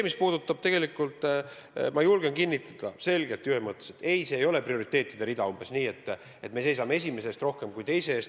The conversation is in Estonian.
Aga tegelikult ma julgen kinnitada, selgelt ja ühemõtteliselt: ei, see ei ole prioriteetide rida – umbes nii, et me seisame esimese eest rohkem kui teise eest.